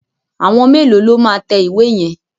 Àwọn mélòó lo máa tẹ ìwé yẹn?